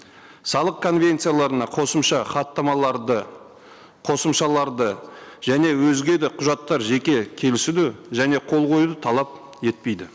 салық конвенцияларына қосымша хаттамаларды қосымшаларды және өзге де құжаттар жеке келісуді және қол қоюды талап етпейді